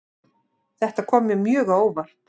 Þetta kom mér mjög á óvart